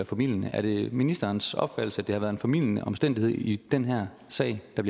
formildende er det ministerens opfattelse at det har været en formildende omstændighed i den her sag der